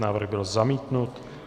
Návrh byl zamítnut.